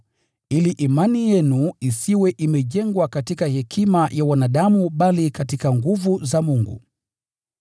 ili imani yenu isiwe imejengwa katika hekima ya wanadamu bali katika nguvu za Mungu.